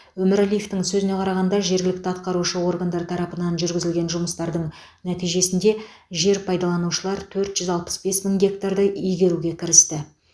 өмірәлиевтің сөзіне қарағанда жергілікті атқарушы органдар тарапынан жүргізілген жұмыстардың нәтижесінде жер пайдаланушылар төрт жүз алпыс бес мың гектарды игеруге кірісті